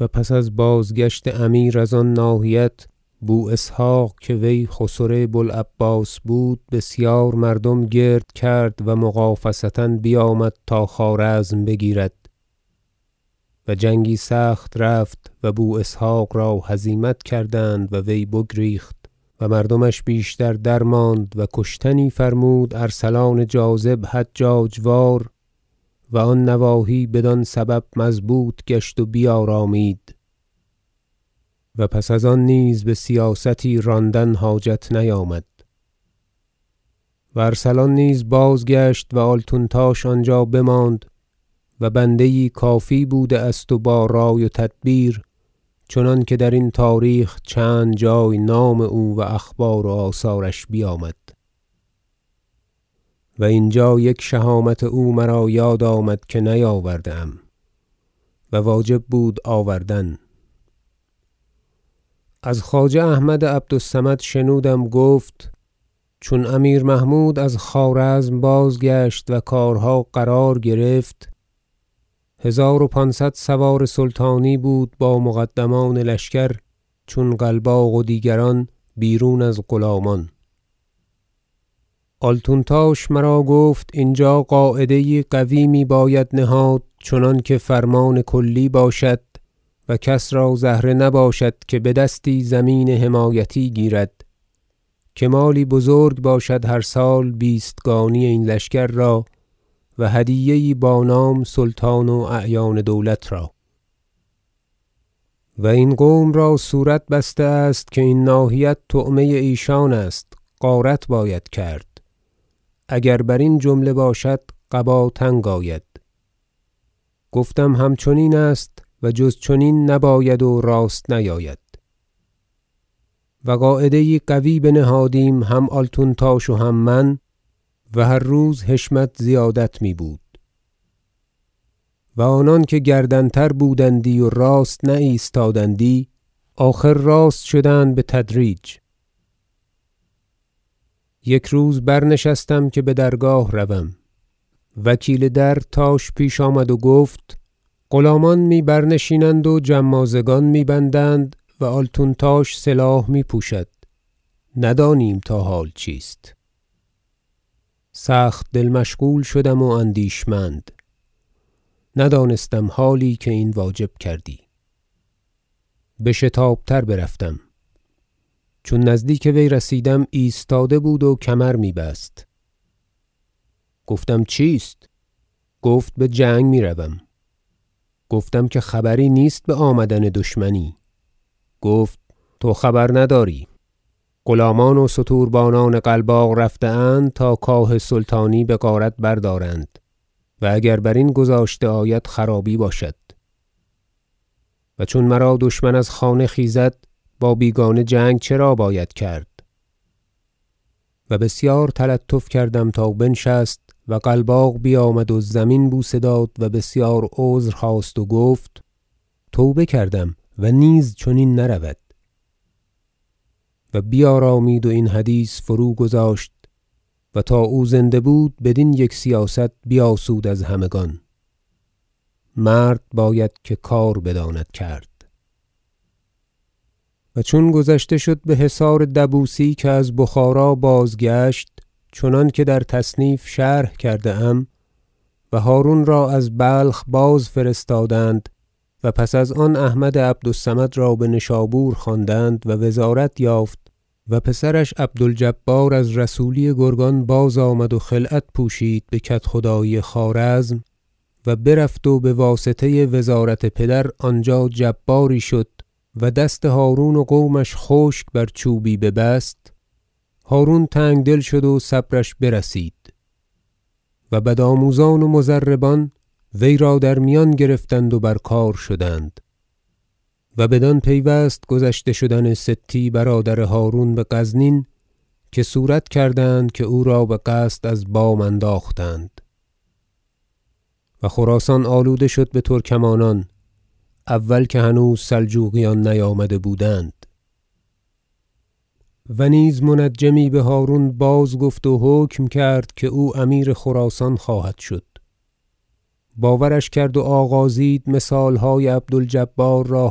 و پس از بازگشتن امیر از آن ناحیت بو اسحق که وی خسر بو العباس بود بسیار مردم گرد کرد و مغافصه بیامد تا خوارزم بگیرد و جنگی سخت رفت و بو اسحق را هزیمت کردند و وی بگریخت و مردمش بیشتر درماند و کشتنی فرمود ارسلان جاذب حجاج وار و آن نواحی بدان سبب مضبوط گشت و بیارامید و پس از آن نیز بسیاستی راندن حاجت نیامد و ارسلان نیز بازگشت و آلتونتاش آنجا بماند و بنده یی کافی بوده است و با رای و تدبیر چنانکه درین تاریخ چند جای نام او و اخبار و آثارش بیامد و اینجا یک شهامت او مرا یاد آمد که نیاورده ام و واجب بود آوردن از خواجه احمد عبد الصمد شنودم گفت چون امیر محمود از خوارزم بازگشت و کارها قرار گرفت هزار و پانصد سوار سلطانی بود با مقدمان لشکر چون قلباق و دیگران بیرون از غلامان آلتونتاش مرا گفت اینجا قاعده یی قوی میباید نهاد چنانکه فرمان کلی باشد و کس را زهره نباشد که بدستی زمین حمایتی گیرد که مالی بزرگ باشد هر سال بیستگانی این لشکر را و هدیه یی با نام سلطان و اعیان دولت را و این قوم را صورت بسته است که این ناحیت طعمه ایشان است غارت باید کرد اگر برین جمله باشد قبا تنگ آید گفتم همچنین است و جز چنین نباید و راست نیاید و قاعده یی قوی بنهادیم هم آلتونتاش و هم من و هر روز حشمت زیادت میبود و آنان که گردن تر بودندی و راست نایستادندی آخر راست شدند بتدریج یک روز برنشستم که بدرگاه روم وکیل در تاش پیش آمد و گفت غلامان می برنشینند و جمازگان می بندند و آلتونتاش سلاح میپوشد ندانیم تا حال چیست سخت دل مشغول شدم و اندیشمند ندانستم حالی که این واجب کردی بشتاب تر برفتم چون نزدیک وی رسیدم ایستاده بود و کمر می بست گفتم چیست گفت بجنگ میروم گفتم که خبری نیست بآمدن دشمنی گفت تو خبر نداری غلامان و ستوربانان قلباق رفته اند تا کاه سلطانی بغارت بردارند و اگر برین گذاشته آید خرابی باشد و چون مرا دشمن از خانه خیزد با بیگانه جنگ چرا باید کرد و بسیار تلطف کردم تا بنشست و قلباق بیامد و زمین بوسه داد و بسیار عذر خواست و گفت توبه کردم و نیز چنین نرود و بیارامید و این حدیث فروگذاشت و تا او زنده بود بدین یک سیاست بیاسود از همگان مرد باید که کار بداند کرد منازعه عبد الجبار و هارون و چون گذشته شد بحصار دبوسی که از بخارا بازگشت چنانکه در تصنیف شرح کرده ام و هرون را از بلخ باز فرستادند و پس از آن احمد عبد الصمد را بنشابور خواندند و وزارت یافت و پسرش عبد الجبار از رسولی گرگان بازآمد و خلعت پوشید بکدخدایی خوارزم و برفت و بواسطه وزارت پدر آنجا جباری شد و دست هرون و قومش خشک بر چوبی ببست هرون تنگدل شد و صبرش برسید و بد- آموزان و مضربان ویرا در میان گرفتند و بر کار شدند و بدان پیوست گذشته شدن ستی برادر هرون بغزنین که صورت کردند که او را بقصد از بام انداختند و خراسان آلوده شد بترکمانان اول که هنوز سلجوقیان نیامده بودند و نیز منجمی بهرون بازگفت و حکم کرد که او امیر خراسان خواهد شد باورش کرد و آغازید مثالهای عبد الجبار را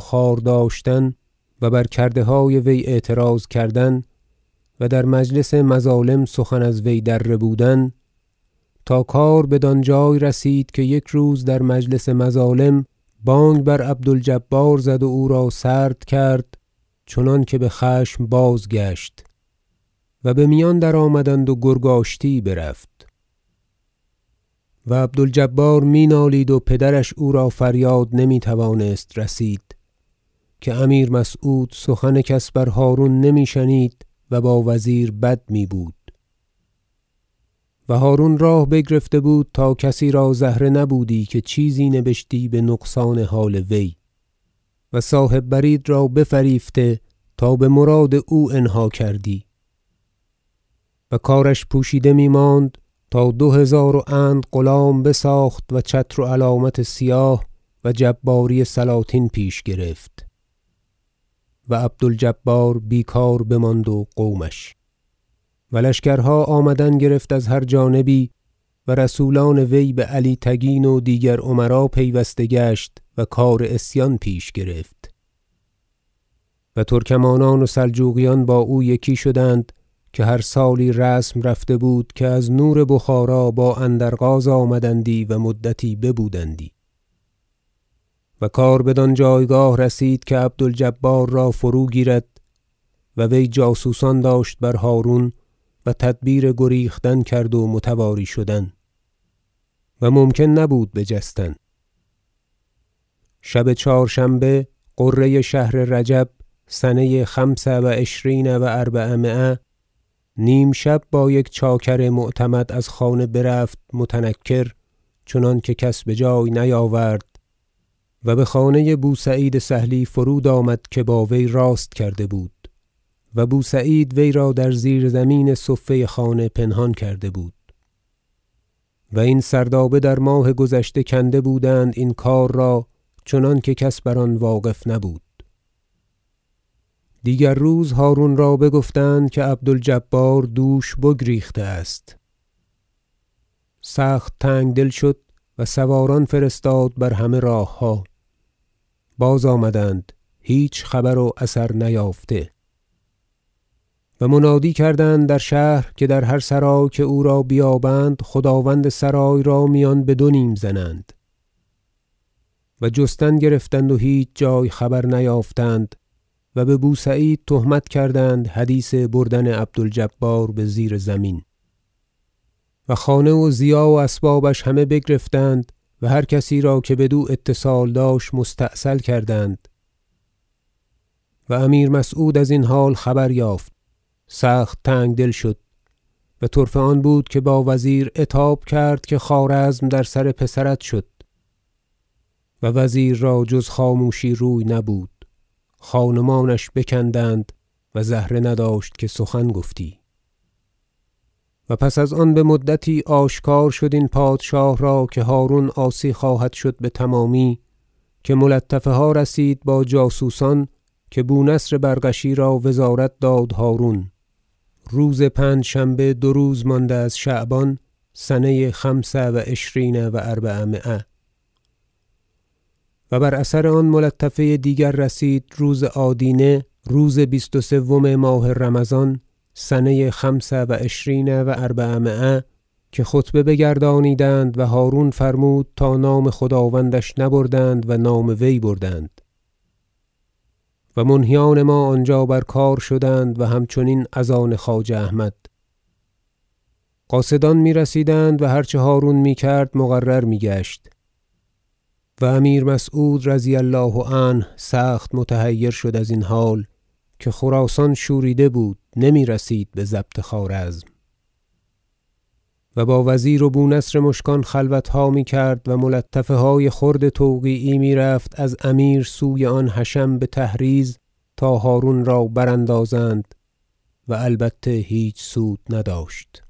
خوار داشتن و بر کردهای وی اعتراض کردن و در مجلس مظالم سخن از وی در ربودن تا کار بدانجای رسید که یک روز در مجلس مظالم بانگ بر عبد الجبار زد و او را سرد کرد چنانکه بخشم بازگشت و بمیان درآمدند و گرگ آشتی یی برفت و عبد الجبار مینالید و پدرش او را فریاد نمیتوانست رسید که امیر مسعود سخن کس بر هرون نمی شنید و با وزیر بد میبود و هرون راه بگرفته بود تا کسی را زهره نبودی که چیزی نبشتی بنقصان حال وی و صاحب برید را بفریفته تا بمراد اوانها کردی و کارش پوشیده میماند تا دو هزار و اند غلام بساخت و چتر و علامت سیاه و جباری سلاطین پیش گرفت و عبد الجبار بیکار بماند و قومش و لشکرها آمدن گرفت از هر جانبی و رسولان وی بعلی تگین و دیگر امرا پیوسته گشت و کار عصیان پیش گرفت و ترکمانان و سلجوقیان با او یکی شدند که هر سالی رسم رفته بود که از نور بخارا با اندرغاز آمدندی و مدتی ببودندی و کار بدان جایگاه رسید که عبد الجبار را فروگیرد و وی جاسوسان داشت بر هرون و تدبیر گریختن کرد و متواری شدن و ممکن نبود بجستن شب چهارشنبه غره شهر رجب سنه خمس و عشرین و اربعمایه نیمشب با یک چاکر معتمد از خانه برفت متنکر چنانکه کس بجای نیاورد و بخانه بو سعید سهلی فرود آمد که با وی راست کرده بود و بو سعید ویرا در زیرزمین صفه پنهان کرده بود و این سردابه در ماه گذشته کنده بودند این کار را چنانکه کس بر آن واقف نبود دیگر روز هرون را بگفتند که عبد الجبار دوش بگریخته است سخت تنگدل شد و سواران فرستاد بر همه راهها بازآمدند هیچ خبر و اثر نیافته و منادی کردند در شهر که در هر سرای که او را بیابند خداوند سرای را میان بدونیم زنند و جستن گرفتند و هیچ جای خبر نیافتند و ببو سعید تهمت کردند حدیث بردن عبد الجبار بزیرزمین و خانه و ضیاع و اسبابش همه بگرفتند و هر کسی را که بدو اتصال داشت مستأصل کردند و امیر مسعود ازین حال خبر یافت سخت تنگدل شد و طرفه آن بود که با وزیر عتاب کرد که خوارزم در سر پسرت شد و وزیر را جز خاموشی روی نبود خان و مانش بکندند و زهره نداشت که سخن گفتی و پس از آن بمدتی آشکار شد این پادشاه را که هرون عاصی خواهد شد بتمامی که ملطفه ها رسید با جاسوسان که بو نصر برغشی را وزارت داد هرون روز پنجشنبه دو روز مانده از شعبان سنه خمس و عشرین و اربعمایه و بر اثر آن ملطفه دیگر رسید روز آدینه بیست و سوم ماه رمضان سنه خمس و عشرین و اربعمایه که خطبه بگردانیدند و هرون فرمود تا نام خداوندش نبردند و نام وی بردند و منهیان ما آنجا بر کار شدند و همچنین از آن خواجه احمد قاصدان میرسیدند و هر چه هرون میکرد مقرر میگشت و امیر مسعود رضی الله عنه سخت متحیر شد از این حال که خراسان شوریده بود نمیرسید بضبط خوارزم و با وزیر و با بو نصر مشکان خلوتها میکرد و ملطفهای خرد توقیعی میرفت از امیر سوی آن حشم بتحریض تا هرون را براندازند و البته هیچ سود نداشت